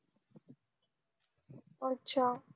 अच्छा